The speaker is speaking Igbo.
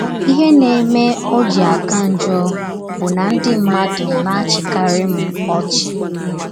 Ihe na - eme ọ ji aka njọ bụ na ndị mmadụ na - achịkarị m ọchị.